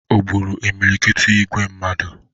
O gburu imilikiti igwe mmadụ?